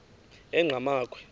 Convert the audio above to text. enqgamakhwe